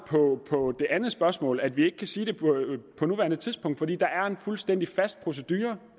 på det andet spørgsmål altså at vi ikke kan sige det på nuværende tidspunkt for der er en fuldstændig fast procedure